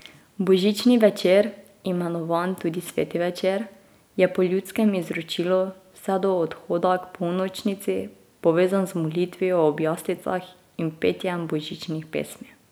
Božični večer, imenovan tudi sveti večer, je po ljudskem izročilu vse do odhoda k polnočnici povezan z molitvijo ob jaslicah in petjem božičnih pesmi.